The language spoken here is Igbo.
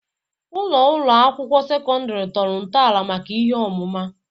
Ụlọ ụlọ akwụkwọ sekọndrị tọrọ ntọala maka ihe ọmụma.